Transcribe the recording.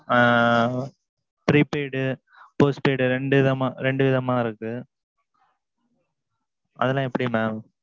ஆ ஆ prepaid postpaid ரெண்டு விதமா. ரெண்டு விதமா இருக்கு. அதெல்லாம் எப்பிடி mam.